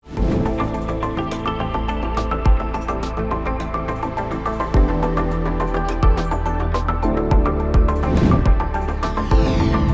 Bəzən həyatın qayğılarını yüngülləşdirmək, həyatda yeni fürsətlər kəşf etmək üçün, bəzən isə, düşünmədiyin bir halda, səni ruhlandıran, bəzən də bir tərəfdən müqayisə etdiyin şeylər, səni başqa səmtlərə istiqamətləndirən musiqi.